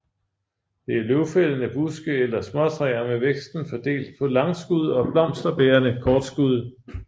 Det er løvfældende buske eller småtræer med væksten fordelt på langskud og blomsterbærende kortskud